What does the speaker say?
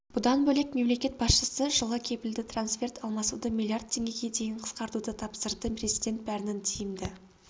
бұдан бөлек мемлекет басшысы жылы кепілді трансферт алмасуды миллиард теңгеге дейін қысқартуды тапсырды президент бәрінің тиімді